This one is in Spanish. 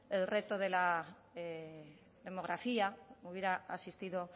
el reto de la demografía hubiera asistido